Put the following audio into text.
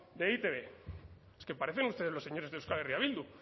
de e i te be es que parecen ustedes los señores de euskal herria bildu